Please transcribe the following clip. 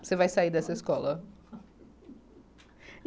Você vai sair dessa escola.